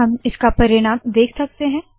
हम इसका परिणाम देख सकते है